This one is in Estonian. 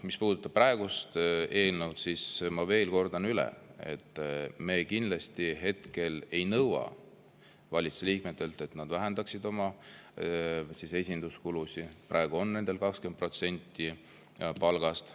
Mis puudutab praegust eelnõu, siis ma kordan veel üle, et me kindlasti ei nõua hetkel valitsuse liikmetelt, et nad vähendaksid oma esinduskulusid – praegu on need 20% palgast.